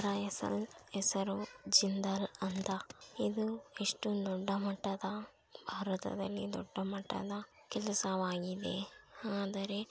ಹೆಸರು ಜಿಂದಾಲ್ ಅಂತ ಇದು ಎಷ್ಟು ದೊಡ್ಡ ಮಟ್ಟದ ಭಾರತದಲ್ಲಿ ದೊಡ್ಡ ಮಟ್ಟದ ಕೆಲಸವಾಗಿದೆ ಆದರೆ.--